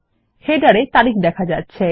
শিরোলেখ তে তারিখ দেখা যাচ্ছে